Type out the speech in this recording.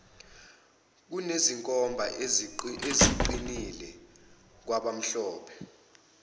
kunezinkomba eziqinile kwabamhlophe